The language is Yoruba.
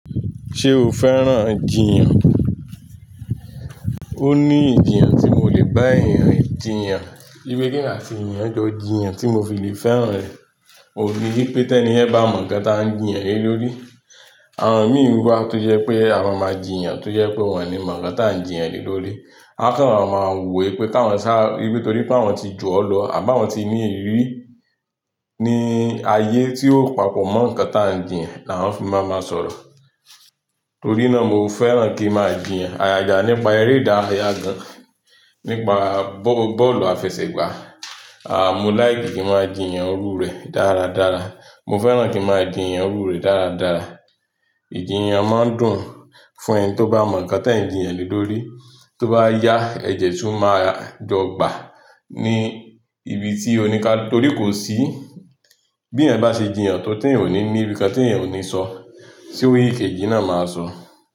Ṣé o fẹ́ràn jìyàn? Ó ní ìjiyàn tí mo lè bá èèyàn jìyàn, bí ki emi àti èèyàn jọ jìyàn tí mo fi lè fẹ́ràn rẹ̀. Mo ríi wípé tẹ́ni yen bá mọ ǹkan tí à ń jìyàn lé lórí. Àwọn mìí wa tó jẹ́ pé à maa máa jìyàn tó jẹ́ pé wọ́n ni mọ ǹkan tí à ń jìyàn lé lórí. A kàn máa ma wò wípé káwọn sá-- nítorí pé àwọn ti jù ọ́ lọ àbí àwọn tí ní ìrírí ní ayé tí ó papọ̀ mọ́ ǹkan tí à ń jìyàn ni àwoń fi máa máa sọ̀rọ̀. Torí náà mo fẹ́ràn kí máa jìyàn àgaga nípa eré ìdárayá gan, nípa bó-bọ́ọ̀lù àfẹsẹ̀gbá. À mo like ki máa jìyàn iru rẹ̀ dáradára. Mo fẹ́ràn kí a máa jìyàn orú rẹ̀ dáradára. Ìjiyàn máa dùn fún ẹni tó bá mọ ǹkan tí ẹ̀ ń jìyàn lé lórí. Tó bá yá ẹ̀de tún máa jọ gbà ní ibi tí oní kà torí kò sí bí èèyàn bá ṣe jìyàn tó tí ẹ̀eyan ní ní rin nkan tí ẹ̀eyan ò ní sọ. Sé ikeji náà máa sọ?